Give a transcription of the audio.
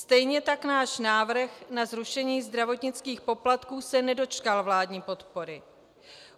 Stejně tak náš návrh na zrušení zdravotnických poplatků se nedočkal vládní podpory.